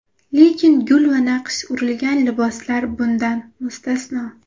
Lekin gul va naqsh urilgan liboslar bundan mustasno.